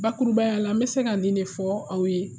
Babaya la n bɛ se ka nin de fɔ aw ye